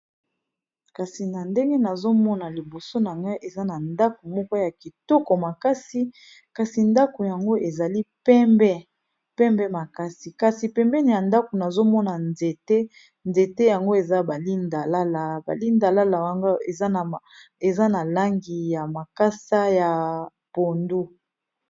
Kasi na ndenge nazomona liboso nanga eza na ndako moko ya kitoko makasi kasi ndako yango ezali pembe pembe makasi kasi pembeni ya ndako nazomona nzete nzete yango eza ba lindalala ba lindalala yango eza na langi ya makasa ya pondu.